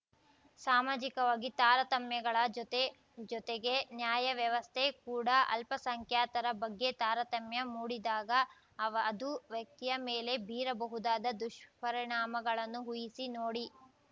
ಸಾಮಾಜಿಕವಾಗಿ ತಾರತಮ್ಯಗಳ ಜೊತೆ ಜೊತೆಗೆ ನ್ಯಾಯ ವ್ಯವಸ್ಥೆ ಕೂಡ ಅಲ್ಪಸಂಖ್ಯಾತರ ಬಗ್ಗೆ ತಾರತಮ್ಯ ಮೂಡಿದಾಗ ಅವ ಅದು ವ್ಯಕ್ತಿಯ ಮೇಲೆ ಬೀರಬಹುದಾದ ದುಷ್ಪರಿಣಾಮಗಳನ್ನು ಊಹಿಸಿ ನೋಡಿ